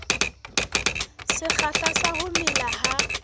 sekgahla sa ho mela ha